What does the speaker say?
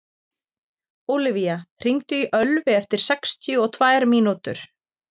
Ólivía, hringdu í Ölvi eftir sextíu og tvær mínútur.